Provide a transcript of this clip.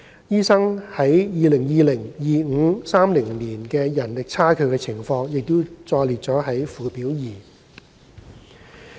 醫生在2020年、2025年和2030年的人力差距的情況載列於附表二。